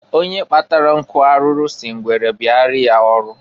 Onye kpatara nkụ arụrụ si ngwere bịara ya ọrụ.